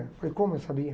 Eu falei, como eu sabia?